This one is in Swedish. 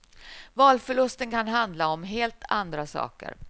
Valförlusten kan handla om helt andra saker.